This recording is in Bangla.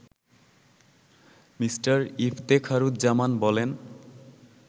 মি. ইফতেখারুজ্জামান বলেন